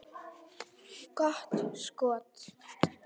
Gott skot.